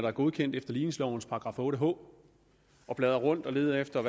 er godkendt efter ligningslovens § otte h og bladrer rundt og leder efter